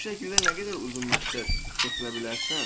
Bu şəkildə nə qədər uzun müddət keçinə bilərsən?